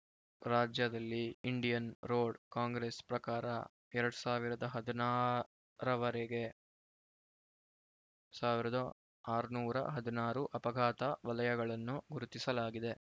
ರಾಜ್ಯದಲ್ಲಿ Indian road congress ಪ್ರಕಾರ ಎರಡ್ ಸಾವಿರದ ಹದಿನಾಲ್ಕುರವರೆಗೆ ಸಾವಿರದ ಆರುನೂರ ಹದಿನಾರು ಅಪಘಾತ ವಲಯಗಳನ್ನು ಗುರುತಿಸಲಾಗಿದೆ